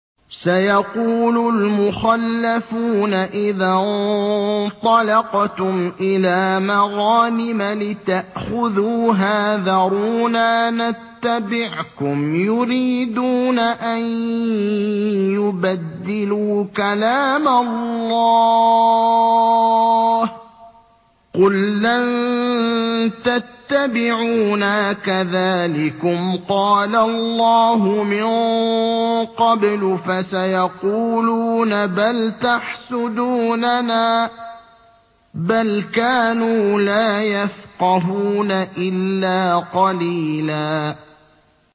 سَيَقُولُ الْمُخَلَّفُونَ إِذَا انطَلَقْتُمْ إِلَىٰ مَغَانِمَ لِتَأْخُذُوهَا ذَرُونَا نَتَّبِعْكُمْ ۖ يُرِيدُونَ أَن يُبَدِّلُوا كَلَامَ اللَّهِ ۚ قُل لَّن تَتَّبِعُونَا كَذَٰلِكُمْ قَالَ اللَّهُ مِن قَبْلُ ۖ فَسَيَقُولُونَ بَلْ تَحْسُدُونَنَا ۚ بَلْ كَانُوا لَا يَفْقَهُونَ إِلَّا قَلِيلًا